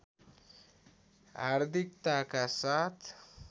हार्दिकताका साथ